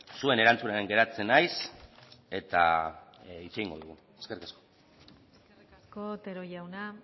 zuen erantzunaren geratzen naiz eta hitz egingo dugu eskerrik asko eskerrik asko otero jauna